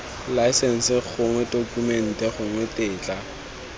laesense gongwe tokumente gongwe tetla